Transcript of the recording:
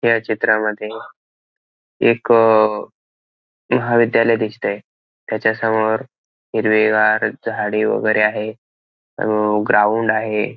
ह्या चित्रामध्ये एक महाविद्यालय दिसतंय त्याच्या समोर हिरवीगार झाडी वगैरे आहे अं ग्राउंड आहे.